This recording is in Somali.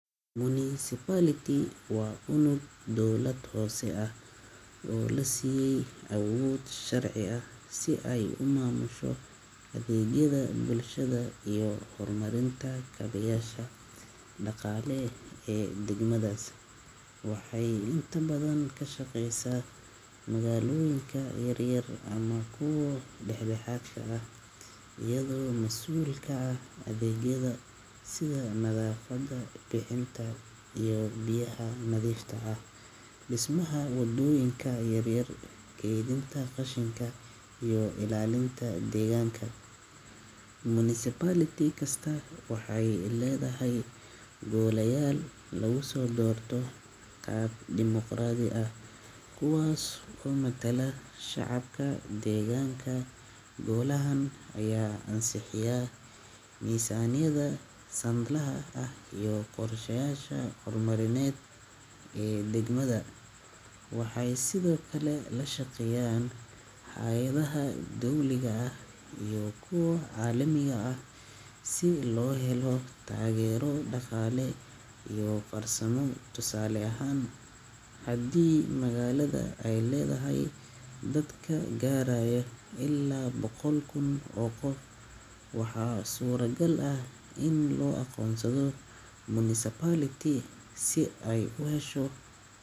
Municipality waa unug dawlad hoose ah oo la siiyay awood sharci ah si ay u maamusho adeegyada bulshada iyo horumarinta kaabeyaasha dhaqaale ee degmadaas. Waxay inta badan ka shaqeysaa magaalooyinka yaryar ama kuwa dhex-dhexaadka ah, iyadoo mas’uul ka ah adeegyada sida nadaafadda, bixinta biyaha nadiifta ah, dhismaha waddooyinka yaryar, kaydinta qashinka, iyo ilaalinta deegaanka. Municipality kasta waxay leedahay golayaal lagu soo doorto qaab dimoqraadi ah kuwaas oo matala shacabka deegaanka. Golahan ayaa ansixiya miisaaniyadda sanadlaha ah iyo qorshayaasha horumarineed ee degmada. Waxay sidoo kale la shaqeeyaan hay’adaha dowliga ah iyo kuwa caalamiga ah si loo helo taageero dhaqaale iyo farsamo. Tusaale ahaan, haddii magaalada ay leedahay dadka gaaraya ilaa boqol kun oo qof, waxaa suuragal ah in loo aqoonsado municipality si ay u hesho.